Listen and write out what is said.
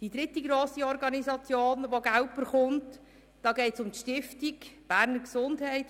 Die dritte grosse Organisation, welche Geld erhält, ist die Beges.